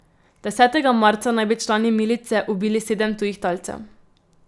Desetega marca naj bi člani milice ubili sedem tujih talcev.